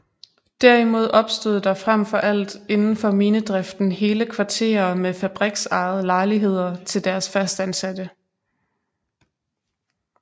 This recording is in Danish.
Derimod opstod der frem for alt indenfor minedriften hele kvarterer med fabriksejede lejligheder til deres fastansatte